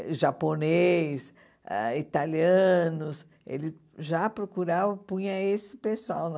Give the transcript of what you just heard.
E japonês, ãh italianos, ele já procurava, punha esse pessoal lá.